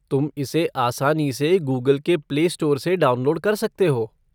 तुम इसे आसानी से गूगल के प्लेस्टोर से डाउनलोड कर सकते हो।